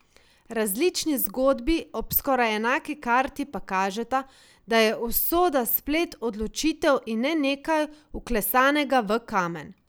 Različni zgodbi ob skoraj enaki karti pa kažeta, da je usoda splet odločitev in ne nekaj, vklesanega v kamen.